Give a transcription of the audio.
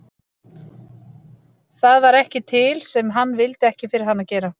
Það var ekki til sem hann vildi ekki fyrir hana gera.